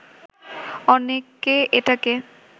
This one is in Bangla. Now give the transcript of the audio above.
অনেকে এটাকে